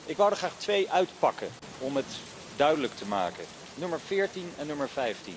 Ik wou er graag twee uitpakken om het duidelijk te maken nummer 14 en nummer